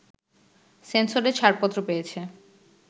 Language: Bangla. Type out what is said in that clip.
সেন্সরে ছাড়পত্র পেয়েছে